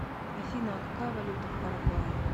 афина а какая валюта в парагвае